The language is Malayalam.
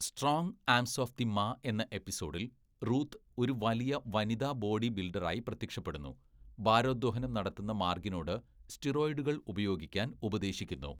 Strong arms of the ma എന്ന എപ്പിസോഡിൽ, റൂത്ത് ഒരു വലിയ വനിതാ ബോഡി ബിൽഡറായി പ്രത്യക്ഷപ്പെടുന്നു, ഭാരോദ്വഹനം നടത്തുന്ന മാർഗിനോട് സ്റ്റിറോയിഡുകൾ ഉപയോഗിക്കാൻ ഉപദേശിക്കുന്നു.